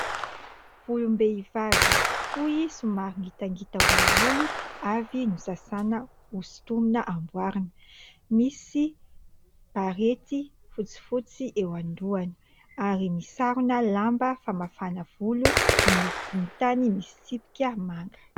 Volom-behivavy fohy, somary ngitangita olioly, avy nosasaina, hosintomina hamboarina. Misy barety fotsifotsy eo amin'ny lohany, ary misy sarona lamba famafana volo miloko volontany misy tsipika manga.